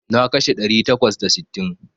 Na kashe ɗari takwas da sittin.